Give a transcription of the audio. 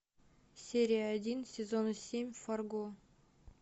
серия один сезона семь фарго